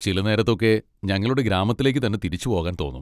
ചില നേരത്തൊക്കെ ഞങ്ങളുടെ ഗ്രാമത്തിലേക്ക് തന്നെ തിരിച്ച് പോകാൻ തോന്നും.